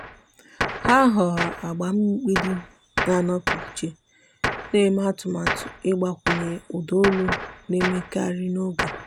há họ̀ọ̀rọ̀ agba mgbidi nà-ànọ́pụ́ ìchè nà-èmé atụ́matụ ị́gbakwụnye ụ́dà ólù nà-èmékarị́ n’ógè.